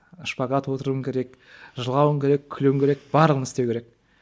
шпагат отыруың керек жылауың керек күлуің керек барлығын істеу керек